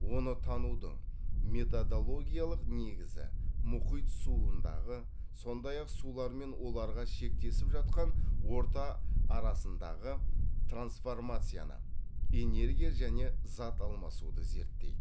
оны тануды методологиялық негізі мұхит суындағы сондай ақ сулар мен оларға шектесіп жатқан орта арасындағы трансформацияны энергия және зат алмасуды зерттейді